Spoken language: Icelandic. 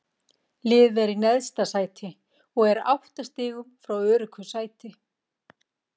Liðið er í neðsta sæti og er átta stigum frá öruggu sæti.